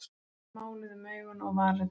Máluð um augun og varirnar.